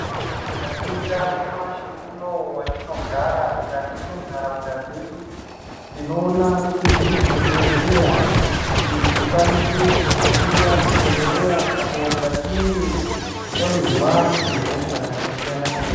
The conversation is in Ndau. Tikaningira nyamashi unowu matinogara mukati mendaraunda dzedu tinoona kuti mune zvibhedhlera Kuti tikwanise kuhanira zvibhedhlera patinenge tawirwa nehosha zvakasiyana siyana.